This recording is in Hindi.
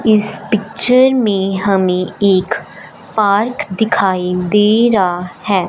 इस पिक्चर में हमें एक पार्क दिखाई दे रहा है।